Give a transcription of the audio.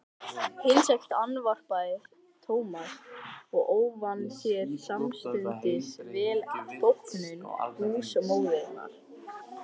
Himneskt andvarpaði Thomas og ávann sér samstundis velþóknun húsmóðurinnar.